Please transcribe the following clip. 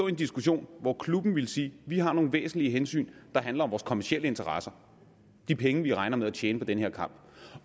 en diskussion hvor klubben ville sige vi har nogle væsentlige hensyn der handler om vores kommercielle interesser de penge vi regner med at tjene på den her kamp